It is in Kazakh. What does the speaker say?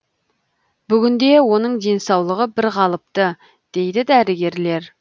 бүгінде оның денсаулығы бірқалыпты дейді дәрігерлер